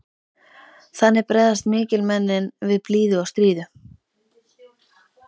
Þannig bregðast mikilmennin við blíðu og stríðu.